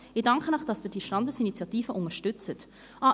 Ich danke Ihnen, dass Sie diese Standesinitiative unterstützen.